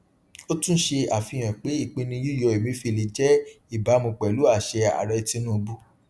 ó tún ṣe àfihàn pé ìpinnu yíyọ emefiele jẹ ìbámu pẹlú àṣẹ aàrẹ tinubu